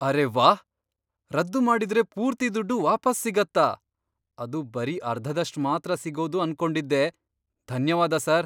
ಅರೇ ವಾಹ್! ರದ್ದು ಮಾಡಿದ್ರೆ ಪೂರ್ತಿ ದುಡ್ಡು ವಾಪಸ್ ಸಿಗತ್ತಾ, ಅದು ಬರೀ ಅರ್ಧದಷ್ಟ್ ಮಾತ್ರ ಸಿಗೋದು ಅಂದ್ಕೊಂಡಿದ್ದೆ. ಧನ್ಯವಾದ ಸಾರ್.